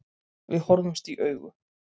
Við horfðumst í augu.